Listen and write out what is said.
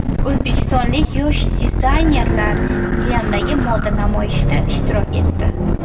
O‘zbekistonlik yosh dizaynerlar Milandagi moda namoyishida ishtirok etdi.